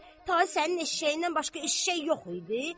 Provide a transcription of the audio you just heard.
Tay sənin eşşəyindən başqa eşşək yox idi?